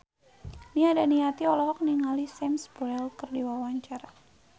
Nia Daniati olohok ningali Sam Spruell keur diwawancara